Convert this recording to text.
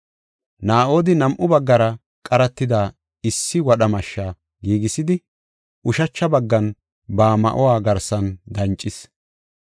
Naa7odi nam7u baggara qaratida issi wadha mashshe giigisidi ushacha baggan ba ma7uwa garsan dancis.